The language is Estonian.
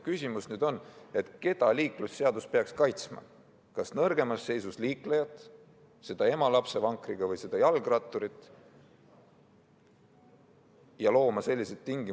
Küsimus on nüüd selles, keda liiklusseadus peaks kaitsma: kas nõrgemas seisus liiklejaid, seda ema lapsevankriga ja jalgratturit,?